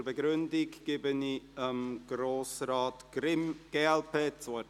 Für die Begründung gebe ich Grossrat Grimm, glp, das Wort.